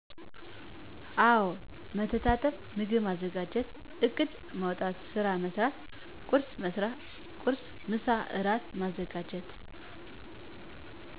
አወ መተጣጠብ ምግብ ማዘጋጀት እቅድ ማዉጣት ስራ መስራት ቁርስ፣ ምሳ፣ እራት ማዘጋጀት።